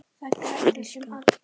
Fyrir skatt.